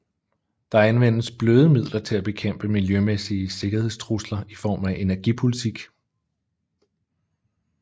Der anvendes bløde midler til at bekæmpe miljømæssige sikkerhedstrusler i form af energipolitik